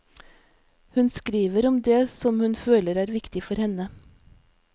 Hun skriver om det som hun føler er viktig for henne.